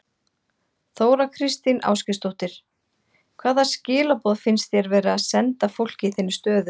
Þóra Kristín Ásgeirsdóttir: Hvaða skilaboð finnst þér verið að senda fólki í þinni stöðu?